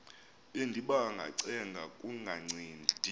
bendiba ngacenga kungancedi